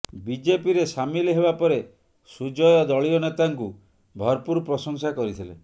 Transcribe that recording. ବିଜେପିରେ ସାମିଲ ହେବା ପରେ ସୁଜୟ ଦଳୀୟ ନେତାଙ୍କୁ ଭରପୁର ପ୍ରଶଂସା କରିଥିଲେ